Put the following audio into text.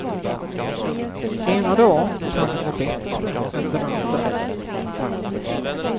Ena dan kan den vara bättre än den andra.